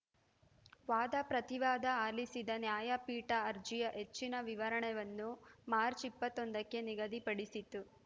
ವಾದಪ್ರತಿವಾದ ಆಲಿಸಿದ ನ್ಯಾಯಪೀಠ ಅರ್ಜಿಯ ಹೆಚ್ಚಿನ ವಿಚಾರಣೆವನ್ನು ಮಾರ್ಚ್ ಇಪ್ಪತ್ತೊಂದಕ್ಕೆ ನಿಗದಿಪಡಿಸಿತು